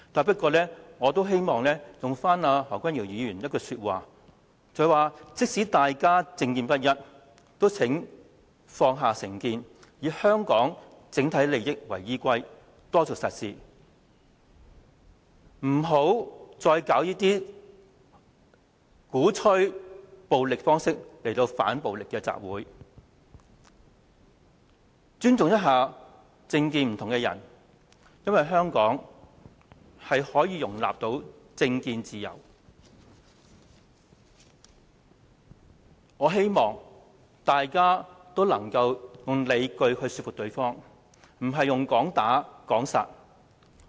不過，我希望引用何君堯議員的一句說話，他說即使大家政見不一，也請放下成見，以香港整體利益為依歸，多做實事，不要再以鼓吹暴力方式來搞這些"反暴力"的集會，要尊重政見不同的人，因為香港是可以容許市民有政見自由，我希望大家能夠用理據來說服對方，而不是"講打講殺"。